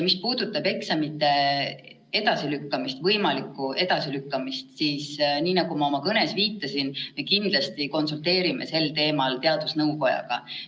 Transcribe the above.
Mis puudutab eksamite võimalikku edasilükkamist, siis, nagu ma oma kõnes viitasin, me kindlasti konsulteerime sel teemal teadusnõukojaga.